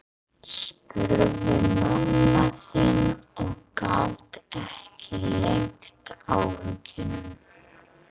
spurði mamma þín og gat ekki leynt áhyggjunum.